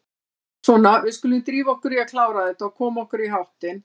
Svona, við skulum drífa okkur í að klára þetta og koma okkur í háttinn.